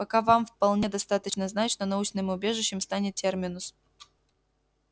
пока вам вполне достаточно знать что научным убежищем станет терминус